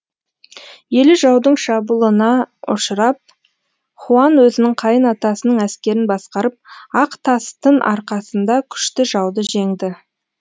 елі жаудың шабулына ұшырап хуан өзінің қайын атасының әскерін басқарып ақ тастын арқасында күшті жауды жеңді